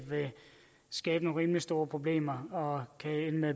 skabe nogle rimelig store problemer og